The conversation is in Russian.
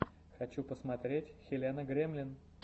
хочу посмотреть хелена гремлин